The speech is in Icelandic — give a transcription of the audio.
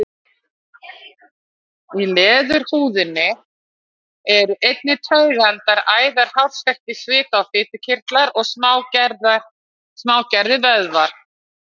Í leðurhúðinni eru einnig taugaendar, æðar, hársekkir, svita- og fitukirtlar og smágerðir vöðvar.